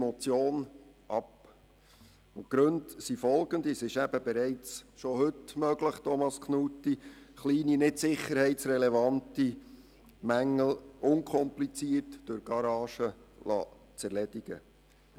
Thomas Knutti, es ist bereits heute möglich, kleine, nicht sicherheitsrelevante Mängel unkompliziert durch Garagisten erledigen zu lassen.